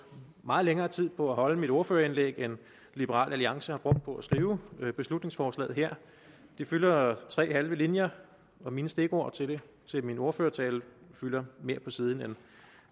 meget længere tid på at holde mit ordførerindlæg end liberal alliance har brugt på at skrive beslutningsforslaget her det fylder tre halve linjer og mine stikord til min ordførertale fylder mere på siden